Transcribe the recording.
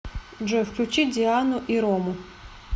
джой включи диану и рому